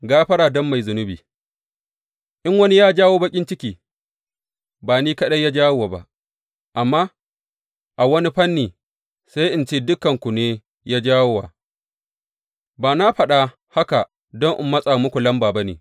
Gafara don mai zunubi In wani ya jawo baƙin ciki, ba ni kaɗai ya jawo wa ba, amma a wani fanni, sai in ce dukanku ne ya jawo wa, ba na faɗa haka don in matsa muku lamba ba ne.